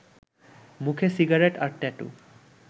মুখে সিগারেট আর ট্যাটু